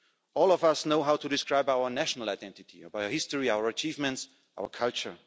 All of us know how to describe our national identity by our history, by our achievements, our culture.